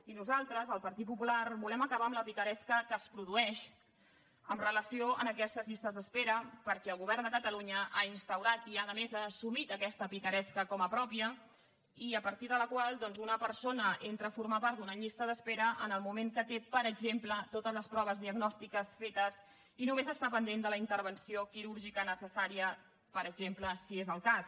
i nosaltres el partit popular volem acabar amb la picaresca que es produeix amb relació a aquestes llistes d’espera perquè el govern de catalunya ha instaurat i a més ha assumit aquesta picaresca com a pròpia a partir de la qual doncs una persona entra a formar part d’una llista d’espera en el moment que té per exemple totes les proves diagnòstiques fetes i només està pendent de la intervenció quirúrgica necessària per exemple si és el cas